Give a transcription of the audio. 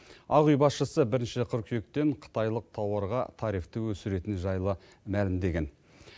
ақ үй басшысы бірінші қыркүйектен қытайлық тауарға тарифті өсіретіні жайлы мәлімдеген